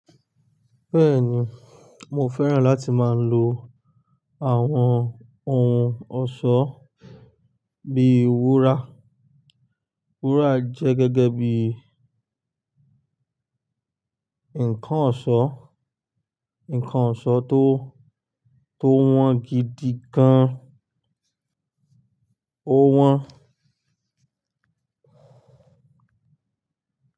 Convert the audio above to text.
Bẹ́ẹ̀ni, mo fẹ́ràn láti máa lo àwọn ohun ọ̀ṣọ́ bí ìwúrà. Wúrà jẹ́ gẹ́gẹ́ bí ǹkan ọ̀ṣọ́, ǹkan ọ̀ṣọ́ tó, tó wọ́n gidi gan an. Ó wọ́n.